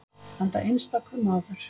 Enda einstakur maður.